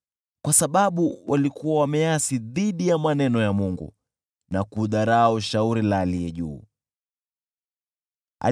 kwa sababu walikuwa wameasi dhidi ya maneno ya Mungu na kudharau shauri la Aliye Juu Sana.